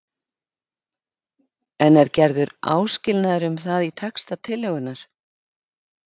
En er gerður áskilnaður um það í texta tillögunnar?